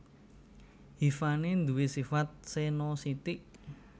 Hifané duwé sifat senositik